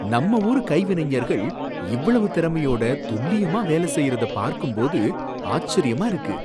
நம்ம ஊர் கைவினைஞர்கள் இவ்வளவு திறமையோட துல்லியமா வேலசெய்யறத பார்க்கும்போது ஆச்சரியமா இருக்கு!